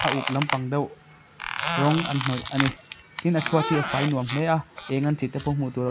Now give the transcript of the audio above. a uk lampang deuh rawng an hnawih ani tin a chhuat hi a fai nuam hle a eng an tih te pawh hmuh tur--